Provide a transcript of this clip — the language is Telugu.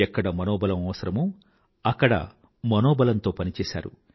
ఎక్కడ మనోబలం అవసరమో అక్కడ మనోబలంతో పనిచేసారు